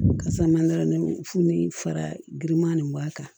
Kasa ma nɔnɔ funu ni fara girinman nin b'a kan